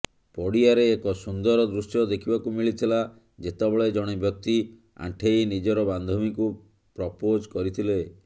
ପଡ଼ିଆରେ ଏକ ସୁନ୍ଦର ଦୃଶ୍ୟ ଦେଖିବାକୁ ମିଳିଥିଲା ଯେତେବେଳେ ଜଣେ ବ୍ୟକ୍ତି ଆଣ୍ଠେଇ ନିଜର ବାନ୍ଧବୀଙ୍କୁ ପ୍ରପୋଜ୍ କରିଥିଲେ